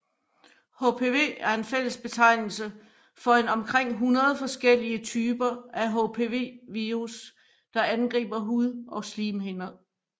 HPV er fællesbetegnelse for en omkring 100 forskellige typer af HPV virus der angriber hud og slimhinder